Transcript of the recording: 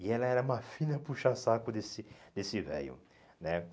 E ela era uma filha puxa-saco desse desse velho, né?